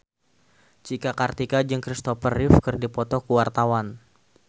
Cika Kartika jeung Kristopher Reeve keur dipoto ku wartawan